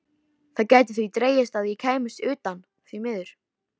Það gæti því dregist að ég kæmist utan, því miður.